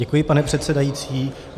Děkuji, pane předsedající.